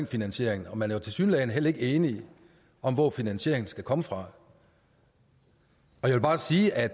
finansieringen og man er tilsyneladende heller ikke enige om hvor finansieringen skal komme fra jeg vil bare sige at